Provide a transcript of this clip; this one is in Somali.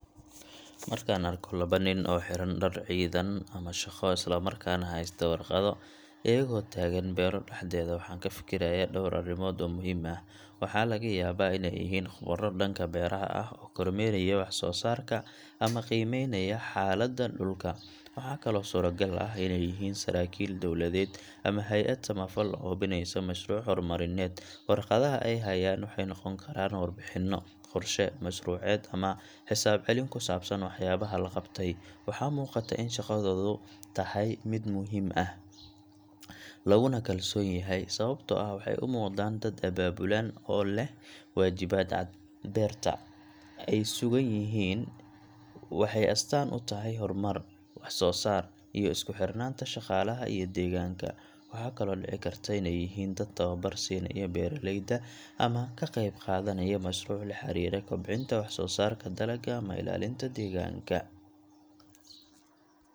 Markaan arko laba nin oo xiran dhar ciidan ama shaqo isla markaana haysta warqado, iyagoo taagan beero dhexdeeda, waxaan ka fikirayaa dhowr arrimood oo muhiim ah: Waxaa laga yaabaa inay yihiin khubaro dhanka beeraha ah oo kormeeraya wax-soo-saarka ama qiimeynaya xaaladda dhulka. Waxaa kaloo suuragal ah inay yihiin saraakiil dowladeed ama hay'ad samafal oo hubinaysa mashruuc horumarineed. Warqadaha ay hayaan waxay noqon karaan warbixino, qorshe mashruuceed ama xisaab celin ku saabsan waxyaabaha la qabtay. Waxaa muuqata in shaqadoodu tahay mid muhiim ah, laguna kalsoon yahay, sababtoo ah waxay u muuqdaan dad abaabulan oo leh waajibaad cad. Beerta ay ku sugan yihiin waxay astaan u tahay horumar, wax-soo-saar, iyo isku xirnaanta shaqaalaha iyo deegaanka. Waxaa kaloo dhici karta inay yihiin dad tababar siinaya beeraleyda ama ka qayb qaadanaya mashruuc la xiriira kobcinta wax-soo-saarka dalagga ama ilaalinta deegaanka.